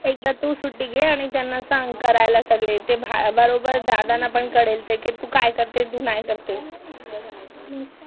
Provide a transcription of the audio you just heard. एकदा तू सुट्टी घे, आणि त्यांना सांग करायला सगळे कळेल ते बरोबर दादांना पण कळेल ते की तू काय करते तू नाही करते